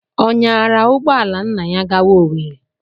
Ọ nyaara ụgbọ ala nna ya gawa Owerri?